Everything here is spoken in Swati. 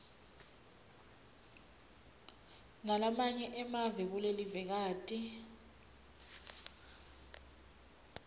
nalamanye emave kulelivekati